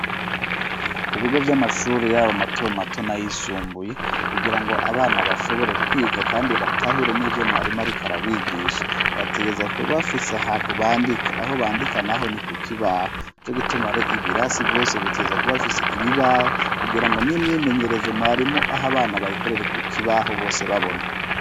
Ku bigo vy'amashuri yabo mato mato nayisumbuye kugira ngo abana bashobore kwiga kandi batahure n'ibyo mwarimo ari karabigisha bategerza kubafise ahantu bandika aho bandika naho ni ku kibaho co gitumare ibirasi byose biteza kuba afise ibibaho kugira ngo n'imyimenyerezo mwarimu aho abana bayikorere ku kibaho bose babona.